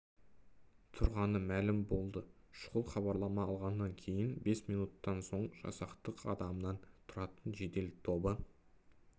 тұрғаны мәлім болды шұғыл хабарлама алғаннан кейін бес минуттан соң жасақтың адамнан тұратын жедел тобы